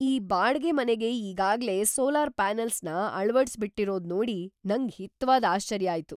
ಈ ಬಾಡ್ಗೆ ಮನೆಗೆ ಈಗಾಗ್ಲೇ ಸೋಲಾರ್‌ ಪ್ಯಾನಲ್ಸ್‌ನ ಅಳವಡ್ಸ್‌ಬಿಟಿರೋದ್‌ ನೋಡಿ ನಂಗ್ ಹಿತವಾದ್‌ ಆಶ್ಚರ್ಯ ಆಯ್ತು!